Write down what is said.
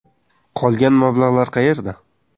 Qolgan mablag‘lar qayerda?